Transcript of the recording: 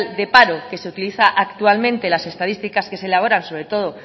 de paro que se utiliza actualmente las estadísticas que se elaboran sobre todo